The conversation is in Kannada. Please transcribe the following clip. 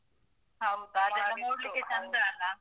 ಹೌದಾ? ಅದೆಲ್ಲ ನೋಡ್ಲಿಕ್ಕೆ ಚಂದ ಅಲ್ಲಾ?